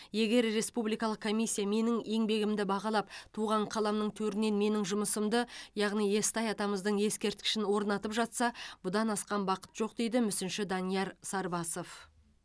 егер республикалық комиссия менің еңбегімді бағалап туған қаламның төрінен менің жұмысымды яғни естай атамыздың ескерткішін орнатып жатса бұдан асқан бақыт жоқ дейді мүсінші данияр сарбасов